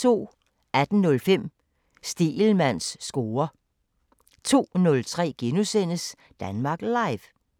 18:05: Stegelmanns score 02:03: Danmark Live *